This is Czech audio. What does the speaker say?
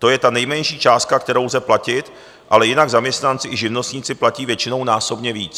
To je ta nejmenší částka, kterou lze platit, ale jinak zaměstnanci i živnostníci platí většinou násobně víc.